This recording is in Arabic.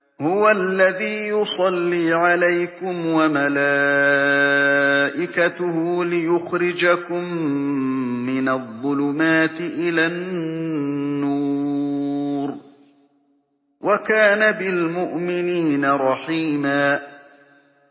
هُوَ الَّذِي يُصَلِّي عَلَيْكُمْ وَمَلَائِكَتُهُ لِيُخْرِجَكُم مِّنَ الظُّلُمَاتِ إِلَى النُّورِ ۚ وَكَانَ بِالْمُؤْمِنِينَ رَحِيمًا